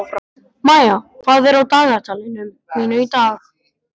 Maía, hvað er á dagatalinu mínu í dag?